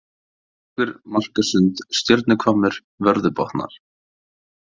Höfðabrekkur, Markasund, Stjörnuhvammur, Vörðubotnar